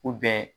U bɛ